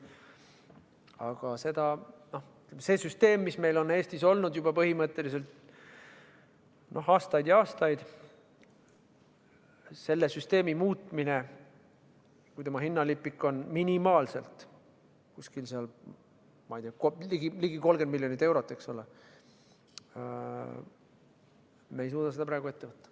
Aga see süsteem, mis meil on Eestis olnud juba põhimõtteliselt aastaid ja aastaid, selle süsteemi muutmine, kui tema hinnalipik on minimaalselt ligi 30 miljonit eurot, siis me ei suuda seda praegu ette võtta.